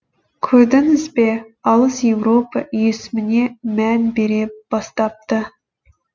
көрдіңізбе алыс еуропа есіміне мән бере бастапты